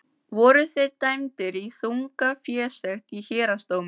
Voru þeir dæmdir í þunga fésekt í héraðsdómi.